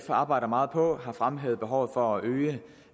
arbejder meget på har fremhævet behovet for at